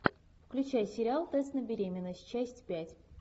включай сериал тест на беременность часть пять